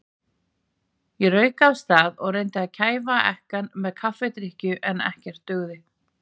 Ég rauk af stað og reyndi að kæfa ekkann með kaffidrykkju, en ekkert dugði.